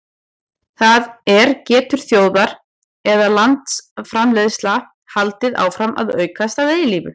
það er getur þjóðar eða landsframleiðsla haldið áfram að aukast að eilífu